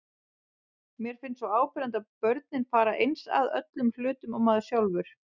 Mér finnst svo áberandi að börnin fara eins að öllum hlutum og maður sjálfur.